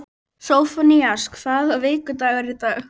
Sófónías, hvaða vikudagur er í dag?